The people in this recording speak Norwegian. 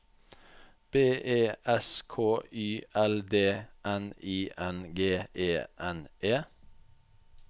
B E S K Y L D N I N G E N E